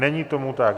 Není tomu tak.